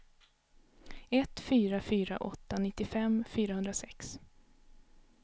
ett fyra fyra åtta nittiofem fyrahundrasex